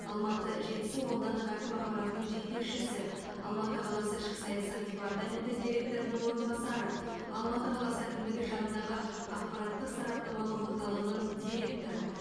алматы қаласы жетісу аудандық әкім аппаратының жетекшісі алматы қаласы ішкі саясат департаменті директорының орынбасары алматы қаласы әкімдігі жанындағы ақпараттық сараптамалық орталығының директоры